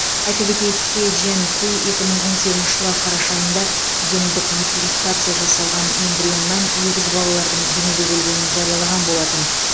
айта кетейік хэ джянкуй екі мың он сегізінші жылы қараша айында гендік модификация жасалған эмбрионнан егіз балалардың дүниеге келгенін жариялаған болатын